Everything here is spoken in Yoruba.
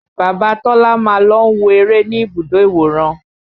Bàbá Tọ́lá máa ń lọ wo eré ní ibùdó ìwòran